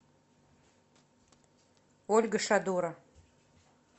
ольга шадора